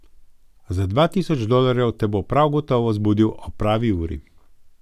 Za dva tisoč dolarjev te bo prav gotovo zbudil ob pravi uri.